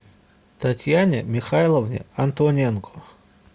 татьяне михайловне антоненко